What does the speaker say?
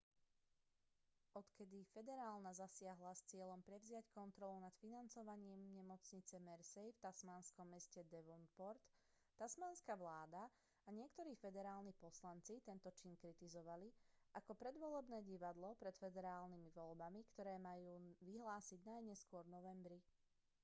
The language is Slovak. odkedy federálna zasiahla s cieľom prevziať kontrolu nad financovaním nemocnice mersey v tasmánskom meste devonport tasmánska vláda a niektorí federálni poslanci tento čin kritizovali ako predvolebné divadlo pred federálnymi voľbami ktoré sa majú vyhlásiť najneskôr v novembri